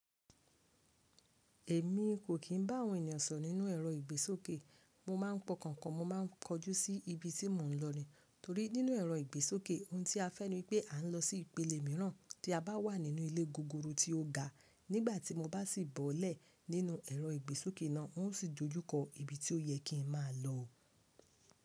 Èmi kò kí n bá àwọn ènìyàn sọ̀ nínú ẹ̀rọ ìgbésókè. Mo máa ń pọkàn po, mo ma ń kojú sí ibi tí mo ń lọ nìí. Torí nínú ẹ̀rọ ìgbésókè ohun tí a fẹ́ ni wipé a ń lọ sí ìpele mìíràn tí a bá wà nínú ilé gogoro tí ó ga. Nígbà tí mo bá sì bọ́lẹ̀ nínú ẹ̀rọ ìgbésókè náà, ń ó sì dojúkọ ibi tí ó yẹ kí n máa lọ.